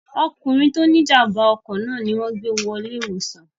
ọkùnrin tí ó ní ìjàmbá ọkọ̀ náà ni wọn gbé wọ ilé ìwòsàn